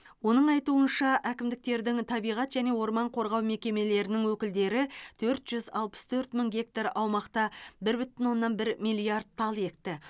оның айтуынша әкімдіктердің табиғат және орман қорғау мекемелерінің өкілдері төрт жүз алпыс төрт мың гектар аумақта бір бүтін оннан бір миллиард тал екті